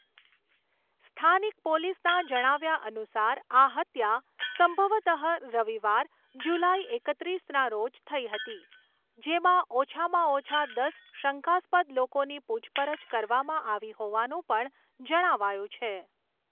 સ્થાનિક પોલીસના જણાવ્યા અનુસાર આ હત્યા સંભવતઃ રવિવાર, જુલાઈ એકત્રીસના રોજ થઈ હતી, જેમાં ઓછામાં ઓછા દસ શંકાસ્પદ લોકોની પૂછપરછ કરવામાં આવી હોવાનું પણ જણાવાયું છે.